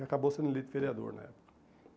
E acabou sendo eleito vereador na época.